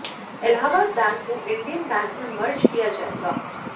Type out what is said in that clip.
Allahabad bank को Indian bank में merge किया जाएगा